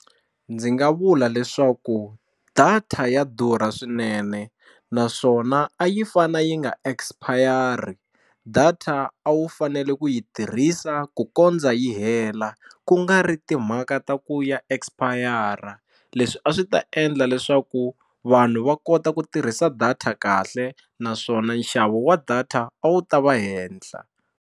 Ndzi nga vula leswaku data ya durha swinene naswona a yi fanele yi nga expire-i data a wu fanele ku yi tirhisa ku kondza yi hela la ku nga ri timhaka ta ku ya expire-a leswi a swi ta endla leswaku vanhu va kota ku tirhisa data kahle naswona nxavo wa data a wu ta va henhla.